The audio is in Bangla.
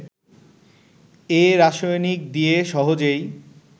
এ রাসায়নিক দিয়ে সহজেই